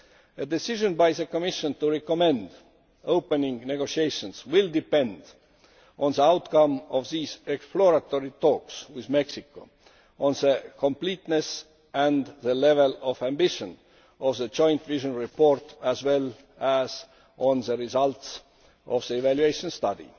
A decision by the Commission to recommend opening negotiations will depend on the outcome of these exploratory talks with Mexico, on the completeness and the level of ambition of the joint vision report, and on the results of the evaluation study.